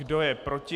Kdo je proti?